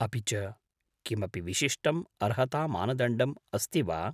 अपि च किमपि विशिष्टम् अर्हतामानदण्डम् अस्ति वा?